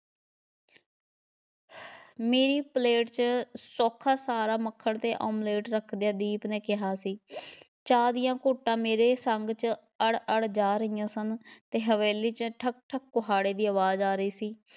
ਮੇਰੀ ਪਲੇਟ 'ਚ ਚੋਖਾ ਸਾਰਾ ਮੱਖਣ ਅਤੇ ਆਮਲੇਟ ਰੱਖਦਿਆਂ ਦੀਪ ਨੇ ਕਿਹਾ ਸੀ ਚਾਹ ਦੀਆਂ ਘੁੱਟਾਂ ਮੇਰੇ ਸੰਘ 'ਚ ਅੜ ਅੜ ਜਾ ਰਹੀਆਂ ਸਨ ਅਤੇ ਹਵੇਲੀ 'ਚ ਠੱਕ ਠੱਕ ਕੁਹਾੜੇ ਦੀ ਆਵਾਜ਼ ਆ ਰਹੀ ਸੀ,